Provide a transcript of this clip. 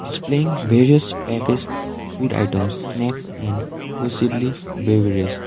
displaying various packaged food items snacks and possibly beverage.